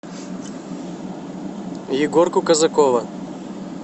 егорку казакова